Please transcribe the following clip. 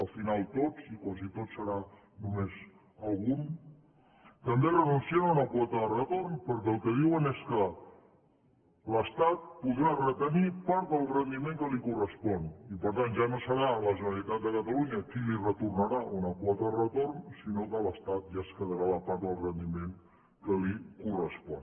al final tots i quasi tots serà només algun també renuncien a una quota de retorn perquè el que diuen és que l’estat podrà retenir part del rendiment que li correspon i per tant ja no serà la generalitat de catalunya qui li retornarà una quota de retorn sinó que l’estat ja es quedarà la part del rendiment que li correspon